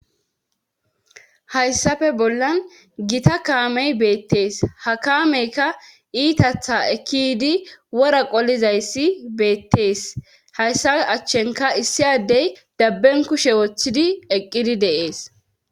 Hayssafe bollan gita kaamey beettees ha kaameyka iitatha ekki yiidi wora qolizayssi beettees hayssa achchenka issi addey dabben kushe wothidi eqqidi de7ees.